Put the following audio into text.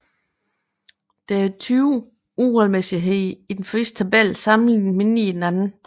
Der er 20 uregelmæssigheder i den første tabel sammenlignet med 9 i den anden